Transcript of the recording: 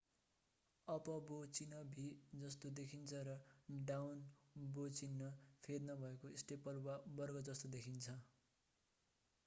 up bow चिन्ह भी जस्तो देखिन्छ र डाउन बो चिन्ह फेद नभएको स्टेपल वा वर्ग जस्तो देखिन्छ